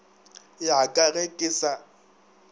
ya ka ge ke sa